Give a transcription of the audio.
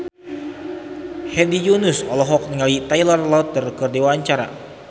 Hedi Yunus olohok ningali Taylor Lautner keur diwawancara